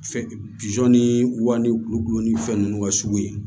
Fɛn ni wa ni kulo ni fɛn nunnu ka sugu ye